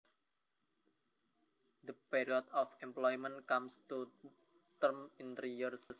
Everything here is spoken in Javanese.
The period of employment comes to term in three years